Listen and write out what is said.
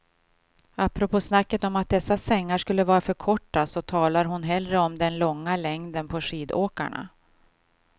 Apropå snacket om att dessa sängar skulle vara för korta så talar hon hellre om den långa längden på skidåkarna.